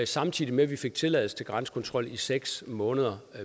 samtidig med at vi fik tilladelse til grænsekontrol i seks måneder